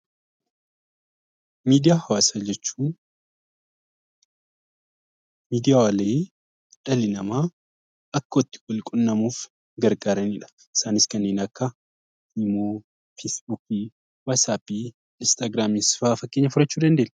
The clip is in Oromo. Miidiyaa Hawaasaa jechuun miidiyaalee dhalli namaa akka itti wal quunnamuuf gargaarani dha. Isaanis kanneen akka Imo, Feesbuukii, watsaappii, Inistaagiraamii fa'a fakkeenya fudhachuu dandeenya.